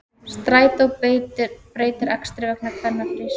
Strætó breytir akstri vegna kvennafrís